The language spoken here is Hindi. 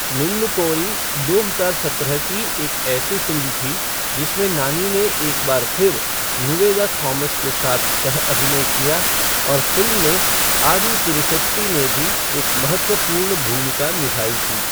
निन्नु कोरी दो हजार सत्रह की एक ऐसी फ़िल्म थी जिसमें नानी ने एक बार फिर निवेदा थॉमस के साथ सह अभिनय किया, और फ़िल्म में आदि पिनिसेट्टी ने भी एक महत्वपूर्ण भूमिका निभाई थी।